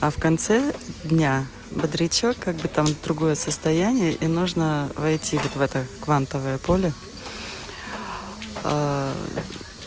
а в конце дня бодрячок как бы там другое состояние и нужно войти вот в этот квантовое поле